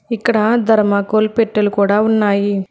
ఇక్కడ ధర్మకోల్ పెట్టెలు కూడా ఉన్నాయి.